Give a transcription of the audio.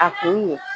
A kun ye